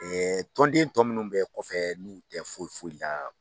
tɔnden tɔ munnu bɛ kɔfɛ n'u tɛ foyi foyi la.